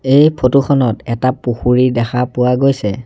এই ফটো খনত এটা পুখুৰী দেখা পোৱা গৈছে।